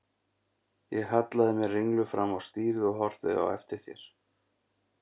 Ég hallaði mér ringluð fram á stýrið og horfði á eftir þér.